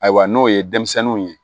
Ayiwa n'o ye denmisɛnninw ye